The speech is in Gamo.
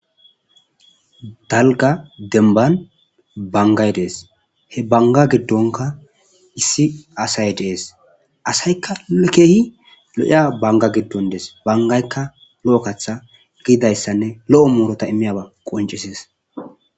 Dalga demban bangay Des , he banga gidonka issi asay Des,asayka keeh lo'iya banga gidon Des, bangayka lo'o katha gididaysane lo'o muruta imiyaysa qoncises.